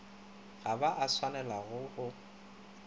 ga ba a swanela go